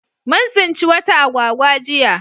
Mun tsinci wata agwagwa jiya